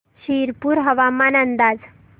शिरपूर हवामान अंदाज